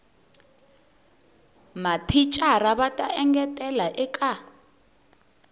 mathicara va ta engetela eka